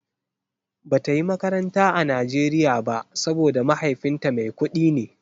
Bata yi makaranta a Nigeria ba saboda mahaifinta mai kudi ne.